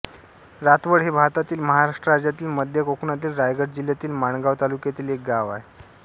रातवड हे भारतातील महाराष्ट्र राज्यातील मध्य कोकणातील रायगड जिल्ह्यातील माणगाव तालुक्यातील एक गाव आहे